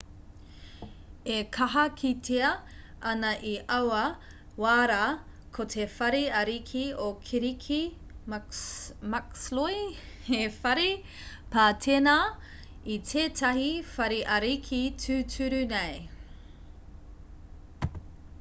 e kaha kitea ana i aua wā rā ko te whare ariki o kirike muxloe he whare pā tēnā i tētahi whare ariki tūturu nei